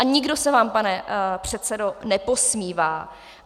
A nikdo se vám, pane předsedo, neposmívá.